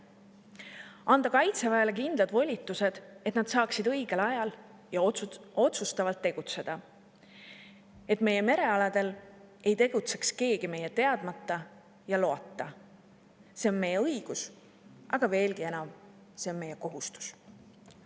Tuleb anda Kaitseväele kindlad volitused, et nad saaksid õigel ajal ja otsustavalt tegutseda, et meie merealadel ei tegutseks keegi meie teadmata ja loata – see on meie õigus, aga veelgi enam, see on meie kohustus.